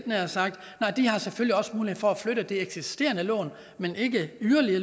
nær sagt nej de har selvfølgelig også mulighed for at flytte det eksisterende lån men ikke yderligere